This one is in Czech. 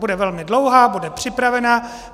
Bude velmi dlouhá, bude připravená.